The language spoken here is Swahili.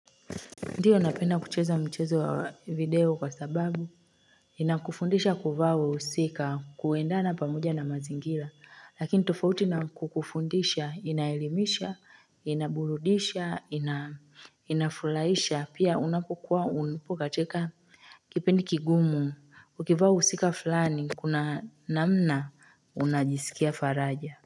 Ndio napenda kucheza michezo wa video kwa sababu inakufundisha kuvaa wahusika kuendana pamoja na mazingira lakini tofauti na kukufundisha inaelimisha inaburudisha inafulaisha pia unapokuwa upo katika kipindi kigumu ukivaa wahusika flani kuna namna unajisikia faraja.